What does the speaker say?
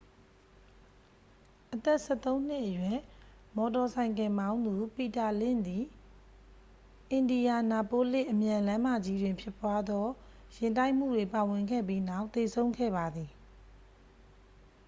အသက်-၁၃-နှစ်အရွယ် မော်တော်ဆိုင်ကယ်မောင်းသူ ပီတာလင့်ဇ်သည် အင်ဒီယာနာပိုးလစ် အမြန်လမ်းမကြီးတွင်ဖြစ်ပွားသော ယာဉ်တိုက်မှုတွင်ပါဝင်ခဲ့ပြီးနောက် သေဆုံးခဲ့ပါသည်။